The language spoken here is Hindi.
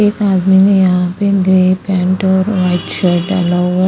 एक आदमी ने यहा पे ग्रे पेंट और वाइट शर्ट पहने हुए।